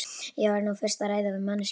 Ég verð nú fyrst að ræða við manneskjuna.